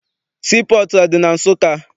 Sii pọọtụ adị na Nsụka?